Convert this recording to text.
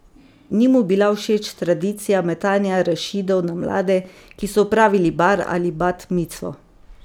Ni mu bila všeč tradicija metanja arašidov na mlade, ki so opravili bar ali bat micvo.